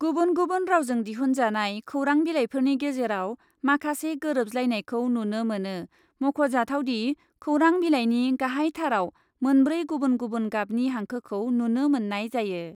गुबुन गुबुन रावजों दिहुनजानाय खौरां बिलाइफोरनि गेजेराव माखासे गोरोबज्लायनायखौ नुनो मोनो, मख'जाथावदि, खौरां बिलाइनि गाहाइथाराव मोनब्रै गुबुन गुबुन गाबनि हांखोखौ नुनो मोननाय जायो।